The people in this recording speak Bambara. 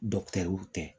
tɛ